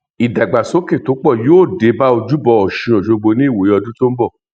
ìdàgbàsókè tó pọ yóò dé bá ojúbọ ọṣun ọṣọgbó ní ìwòyí ọdún tó ń bọ